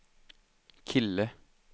kille